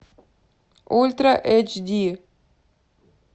ультра эйч ди